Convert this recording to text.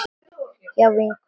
Hjá vinkonu sinni?